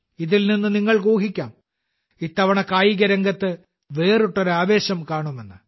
ഇതിൽ നിന്ന് നിങ്ങൾക്ക് ഊഹിക്കാം ഇത്തവണ കായികരംഗത്ത് വേറിട്ടൊരു ആവേശം കാണുമെന്ന്